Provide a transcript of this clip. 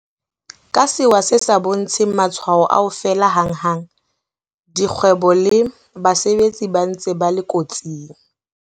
Ka sewa se sa bontsheng matshwao a ho fela hanghang, dikgwebo le basebetsi ba ntse ba le kotsing.